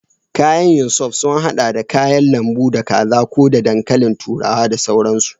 Kayan yin soup sun haɗa da kayan lambu, da kaza ko da dankalin turawa da sauransu.